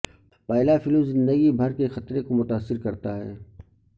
پہلا فلو زندگی بھر کے خطرے کو متاثر کرتا ہے